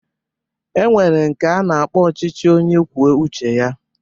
E nwere nke a na-akpọ ọchịchị onye kwuo uche ya